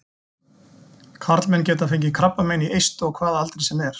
Karlmenn geta fengið krabbamein í eistu á hvaða aldri sem er.